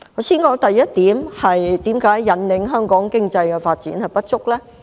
先談第一點，為何在引領香港經濟發展方面不足？